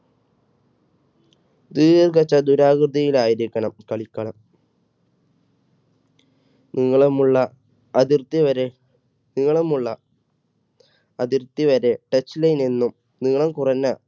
ദീർഘ ചതുരാകൃതിയിൽ ആയിരിക്കണം കളിക്കളം നീളമുള്ള അതിർത്തി വരെ നീളമുള്ള അതിർത്തി വരെ touch line എന്നും നീളം കുറഞ്ഞ